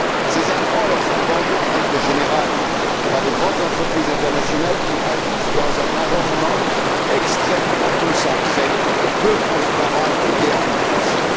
Ces intrants leur sont vendus, en règle générale, par de grandes entreprises internationales qui agissent dans un environnement extrêmement concentré, peu transparent et guère concurrentiel.